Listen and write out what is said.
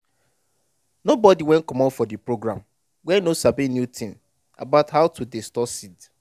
nobody wey comot for de program wey no sabi new thing about how to dey store seed.